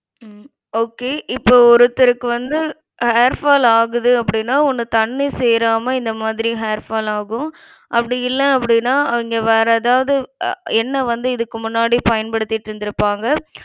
உம் okay இப்போ ஒருத்தருக்கு வந்து ha~ hair fall ஆகுதுன்னு அப்டினா ஒண்ணு தண்ணி சேராம இந்த மாதிரி hair fall ஆகும். அப்டியில்ல அப்டினா அவிங்க வேற எதாவது அஹ் எண்ணெய் வந்து இதுக்கு முன்னாடி பயன்படுத்திட்டிருந்திருப்பாங்க.